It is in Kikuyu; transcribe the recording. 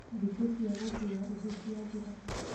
Thikũ cia gũkuua ihu ciathira,